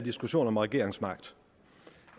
diskussion om regeringsmagten